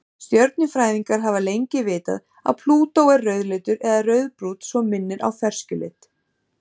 Stjörnufræðingar hafa lengi vitað að Plútó er rauðleitur eða rauðbrúnn svo minnir á ferskjulit.